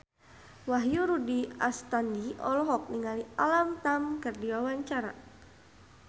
Wahyu Rudi Astadi olohok ningali Alam Tam keur diwawancara